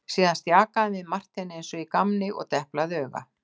Síðan stjakaði hann við Marteini eins og í gamni og deplaði auga.